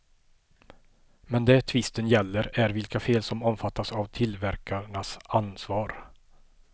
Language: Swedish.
Men det tvisten gäller är vilka fel som omfattas av tillverkarnas ansvar.